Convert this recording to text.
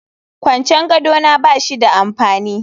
Kwancen gado na ba shi da amfani